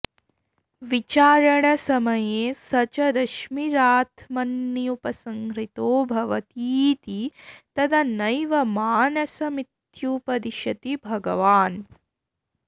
विचारणसमये स च रश्मिरात्मन्युपसंहृतो भवतीति तदा नैव मानसमित्युपदिशति भगवान्